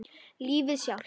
Lífið sjálft.